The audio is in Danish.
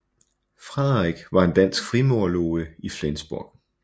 Frederik var en dansk frimurerloge i Flensborg